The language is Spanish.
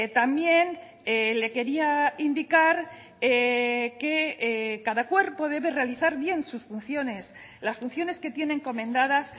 también le quería indicar que cada cuerpo debe realizar bien sus funciones las funciones que tiene encomendadas